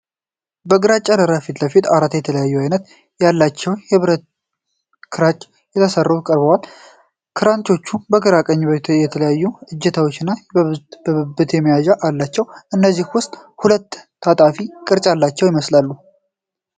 ከግራጫ ዳራ ፊት ለፊት አራት የተለያየ ዓይነት ያላቸው የብረት ክራንች ተሰልፈው ቀርበዋል። ክራንቾቹ ከግራ ወደ ቀኝ የተለያዩ እጀታዎችና የብብት መያዣዎች አሏቸው፤ ከእነዚህም ውስጥ ሁለቱ ታጣፊ ቅርጽ ያላቸው ይመስላሉ።